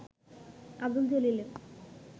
Abdul জলিলের